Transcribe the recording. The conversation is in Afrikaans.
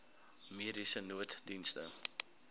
mediese nooddienste